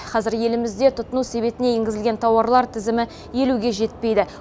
қазір елімізде тұтыну себетіне енгізілген тауарлар тізімі елуге жетпейді